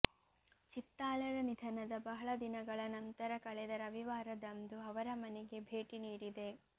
ಚಿತ್ತಾಲರ ನಿಧನದ ಬಹಳ ದಿನಗಳ ನಂತರ ಕಳೆದ ರವಿವಾರದಂದು ಅವರ ಮನೆಗೆ ಭೇಟಿ ನೀಡಿದೆ